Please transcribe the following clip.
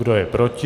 Kdo je proti?